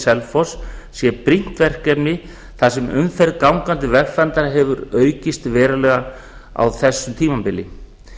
selfoss sé brýnt verkefni þar sem umferð gangandi vegfarenda hefur aukist verulega á þessu tímabili